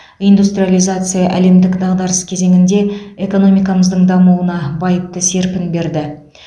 индустриализация әлемдік дағдарыс кезеңінде экономикамыздың дамуына байыпты серпін берді